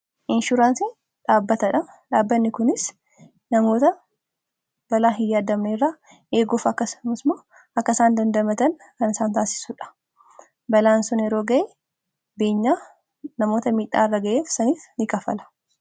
Ishuraansii dhaabbatadha dhaabbanni kunis namoota balaa hin yaadame irraa eeguuf akkasumas akkasaan dandamatan kan isaan taasisuudha balaan sun yeroo ga'ee beenyaa namoota miidhaa irra ga'eef saniif ni kafala.